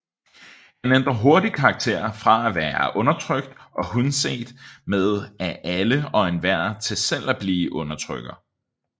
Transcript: Han ændrer hurtigt karakter fra at være undertrykt og hundset med af alle og enhver til selv at blive undertrykker